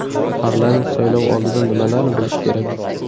Parlament saylovi oldidan nimalarni bilish kerak?